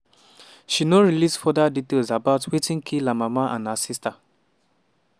she no release further details about wetin kill her mama and her sister.